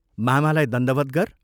मामालाई दण्डवत् गर्।